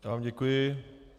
Já vám děkuji.